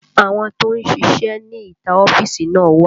Àwọn tó ń ṣíṣe ní ìta ọ́fíìsì náà wà